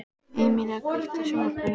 Emelía, kveiktu á sjónvarpinu.